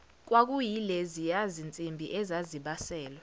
kwakuyileziya zinsimbi ezazibaselwa